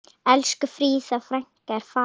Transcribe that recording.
Elsku Fríða frænka er farin.